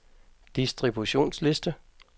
distributionsliste